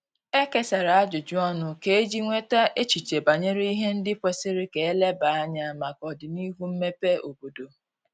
E kesara ajụjụ ọnụ kà eji nweta echiche banyere ihe ndi kwesiri ka eleba anya maka odinihu mmebe obodo